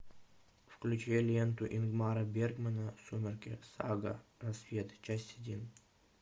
включи ленту ингмара бергмана сумерки сага рассвет часть один